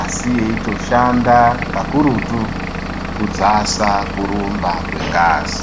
asi yeitoshanda kakurutu kudzasa kurumba kwebasa.